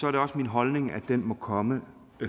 er det også min holdning at den må komme